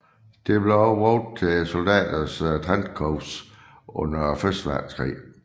Det blev også brugt til soldaters trenchcoats under første verdenskrig